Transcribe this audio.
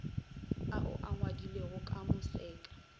ao a ngwadilwego ka moseka